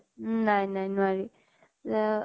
উম । নাই নাই নোৱাৰি । এ